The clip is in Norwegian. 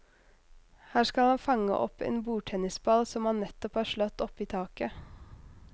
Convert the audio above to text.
Her skal han fange opp en bordtennisball som han nettopp har slått oppi taket.